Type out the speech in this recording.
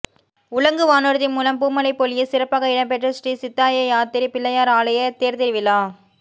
உலங்குவானுர்தி மூலம் பூமழை பொழிய சிறப்பாக இடம்பெற்ற ஸ்ரீ சிந்தாயாத்திரை பிள்ளையார் ஆலய தேர்த்திருவிழா